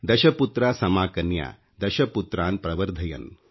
ದಶಪುತ್ರ ಸಮಾಕನ್ಯಾ ದಶಪುತ್ರಾನ್ ಪ್ರವರ್ಧಯನ್